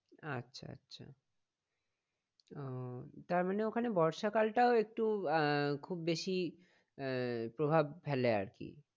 আচ্ছা আচ্ছা ওহ তার মানে ওখানে বর্ষা কালটা একটু আহ খুব বেশি আহ প্রভাব ফেলে আর কি